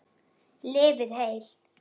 Lifið heil.